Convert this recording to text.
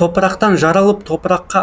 топырақтан жаралып топыраққа